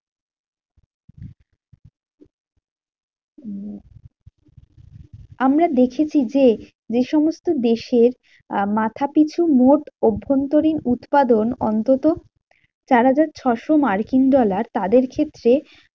উম আমরা দেখেছি যে, যেসমস্ত দেশের মাথাপিছু মোট অভ্যন্তরীণ উৎপাদন অন্তত চারহাজার ছশো মার্কিন dollar, তাদের ক্ষেত্রে